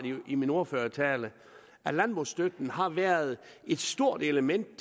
i min ordførertale at landbrugsstøtten har været et element